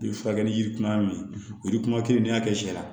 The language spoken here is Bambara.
I bi furakɛli yirikuman min olu kuma kelen n'i y'a kɛ sɛ la